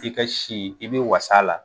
I ka si, i bɛ was'a la.